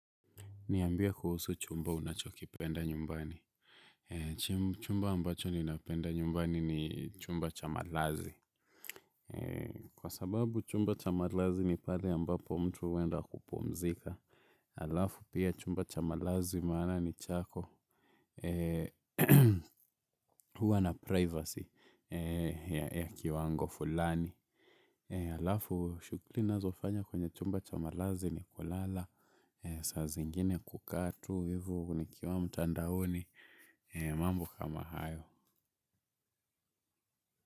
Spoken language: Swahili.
Niambie kuhusu chumba unachokipenda nyumbani. Chumba ambacho ninapenda nyumbani ni chumba cha malazi. Kwa sababu chumba cha malazi ni pale ambapo mtu huenda kupumzika. Alafu pia chumba cha malazi maana ni chako huwa na privacy ya kiwango fulani. Alafu shukuli nazofanya kwenye chumba cha malazi ni kulala. Saa zingine kukaa tu hivo nikiwa mtandaoni mambo kama hayo.